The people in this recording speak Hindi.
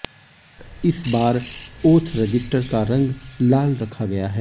इस बार ओथ रजिस्टर का रंग लाल रखा गया है